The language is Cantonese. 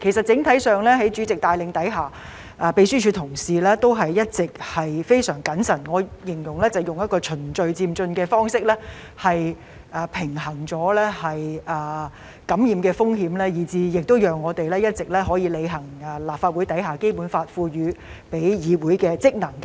整體上，在主席的帶領下，秘書處同事均一直非常謹慎，我會形容為以循序漸進的方式來平衡感染風險，讓我們可以一直履行《基本法》賦予立法會的職能。